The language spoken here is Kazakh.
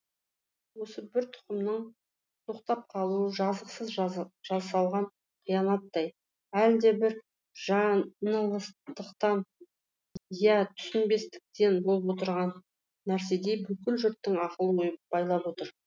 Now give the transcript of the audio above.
осы бір тұқымның тоқтап қалуы жазықсыз жасалған қиянаттай әлдебір жаңылыстықтан иә түсінбестіктен болып отырған нәрседей бүкіл жұрттың ақыл ойын байлап отыр